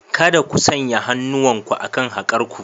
Kada ku sanya hannuwanku akan haƙar ku!